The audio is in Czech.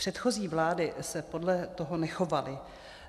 Předchozí vlády se podle toho nechovaly.